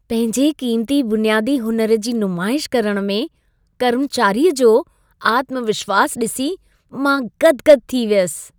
पंहिंजे क़ीमती बुनियादी हुनर जी नुमाइश करण में कर्मचारीअ जो आत्मविश्वासु ॾिसी मां गदि-गदि थी वियसि।